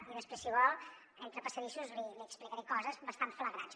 i després si vol entre passadissos li explicaré coses bastant flagrants